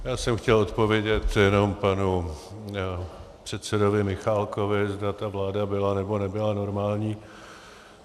Já jsem chtěl odpovědět jenom panu předsedovi Michálkovi, zda ta vláda byla, nebo nebyla normální.